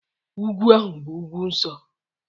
Ugwu ahụ bụ ugwu nsọ